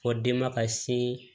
O denba ka sin